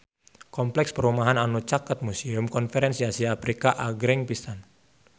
Kompleks perumahan anu caket Museum Konferensi Asia Afrika agreng pisan